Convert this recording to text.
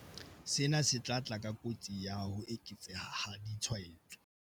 Sena se tla tla ka kotsi ya ho eketseha ha ditshwaetso.